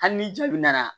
Hali ni jaabi nana